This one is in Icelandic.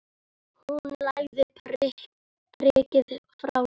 Hún lagði prikið frá sér.